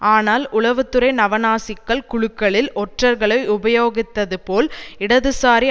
ஆனால் உளவு துறை நவநாசிக்கள் குழுக்களில் ஒற்றர்களை உபயோகித்தது போல் இடதுசாரி